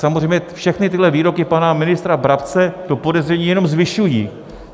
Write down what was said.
Samozřejmě všechny tyto výroky pana ministra Brabce to podezření jenom zvyšují.